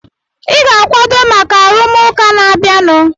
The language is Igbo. Ị ga-akwado maka arụmụka na-abịanụ!